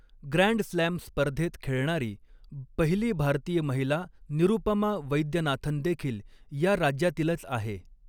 Grand slam स्पर्धेत खेळणारी पहिली भारतीय महिला निरुपमा वैद्यनाथन देखील या राज्यातीलच आहे.